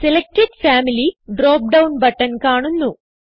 selected family drop down button കാണുന്നു